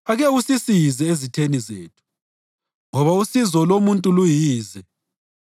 Ake usisize ezitheni zethu, ngoba usizo lomuntu luyize.